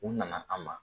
U nana an ma